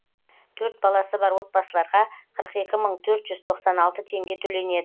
төрт баласы бар отбасыларға қырық екі мың төрт жүз тоқсан алты теңге төленеді